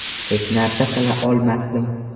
Hech narsa qila olmasdim.